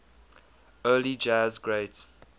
early jazz great